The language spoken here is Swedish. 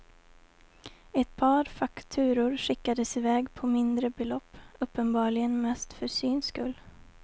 Ett par fakturor skickades i väg på mindre belopp, uppenbarligen mest för syns skull.